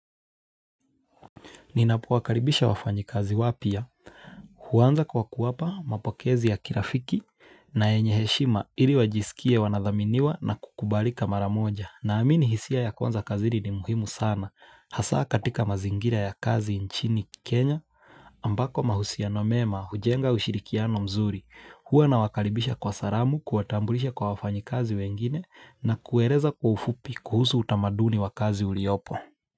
Ninapowakaribisha wafanyikazi wapya huanza kwa kuwapa mapokezi ya kirafiki na yenye heshima ili wajisikie wanadhaminiwa na kukubalika maramoja naamini hisia ya kwanza kazini ni muhimu sana hasa katika mazingira ya kazi nchini Kenya ambako mahusia no mema hujenga ushirikiano mzuri huwa nawakaribisha kwa salamu kuwatambulisha kwa wafanyikazi wengine na kueleza kwa ufupi kuhusu utamaduni wa kazi uliopo.